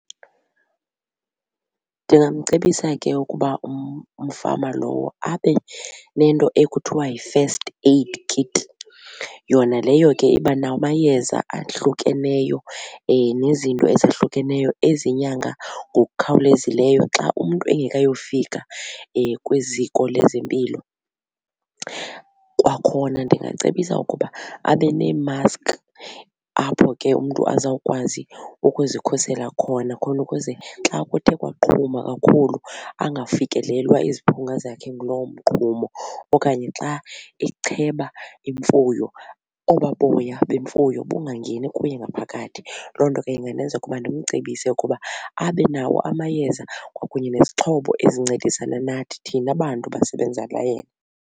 Ndingamcebisa ke ukuba umfama lowo abe nento ekuthiwa yi-first aid kit. Yona leyo ke iba namayeza ahlukeneyo nezinto ezahlukeneyo ezinyanga ngokukhawulezileyo xa umntu engekayofika kwiziko lezempilo. Kwakhona ndingacebisa ukuba abe neemaski apho ke umntu azawukwazi ukuzikhusela khona khona ukuze xa kuthe kwaqhuma kakhulu angafikelelwa iziphunga zakhe nguloo mqhumo okanye xa echeba imfuyo obaa boya bemfuyo bungangeni kuye ngaphakathi. Loo nto ke ingandenza ukuba ndimcebise ukuba abe nawo amayeza kwakunye nezixhobo ezincedisana nathi thina bantu basebenzela yena.